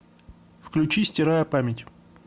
включи стирая память